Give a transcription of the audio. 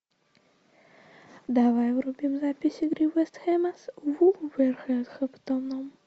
давай врубим запись игры вест хэма с вулверхэмптоном